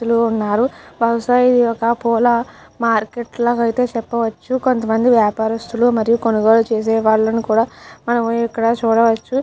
చాలామంది ఉన్నారు. బహుశా ఇది ఒక పూల మార్కెట్ అని చెప్పవచ్చు. కొంత మంది వ్యాపారస్తులు మరియు కొనుగోళ్ళు చేసే వాళ్ళని కూడా మనం ఎక్కడ చూడవచ్చు.